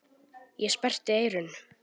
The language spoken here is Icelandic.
Ég sperrti eyrun.